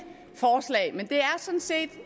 sådan set